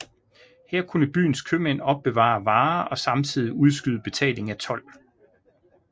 Her kunne byens købmænd opbevare varer og samtidig udskyde betaling af told